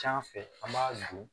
Can fɛ an b'a dun